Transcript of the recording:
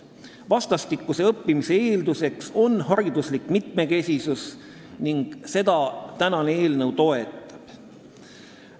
Vastastikuse õppimise eelduseks on hariduslik mitmekesisus ning seda täna arutatav eelnõu toetab.